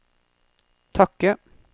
takke